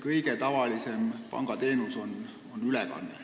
Kõige tavalisem pangateenus on ilmselt ülekanne.